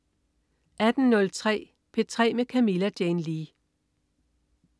18.03 P3 med Camilla Jane Lea